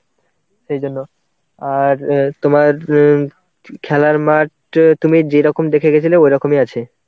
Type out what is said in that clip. সেই জন্য. আর অ্যাঁ তোমার অ্যাঁ খেলার মাঠ তুমি যেরকম দেখে গেছিলে ওরকমই আছে.